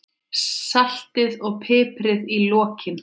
Saltið og piprið í lokin.